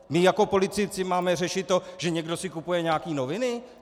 My jako politici máme řešit to, že někdo si kupuje nějaké noviny?